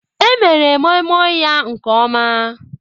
Emere Moimoi ya nke ọma.